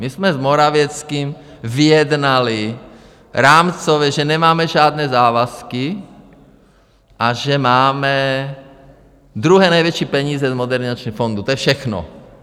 My jsme s Morawieckým vyjednali rámcově, že nemáme žádné závazky a že máme druhé největší peníze z Modernizačního fondu, to je všechno.